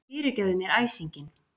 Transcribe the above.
Fyrirgefðu mér æsinginn.